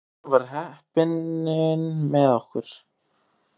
Í endanum var heppnin með okkur.